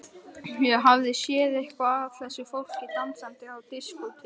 Ég hafði séð eitthvað af þessu fólki dansandi á diskóteki.